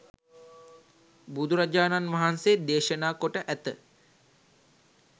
බුදුරජාණන්වහන්සේ දේශනා කොට ඇත.